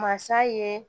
Masa ye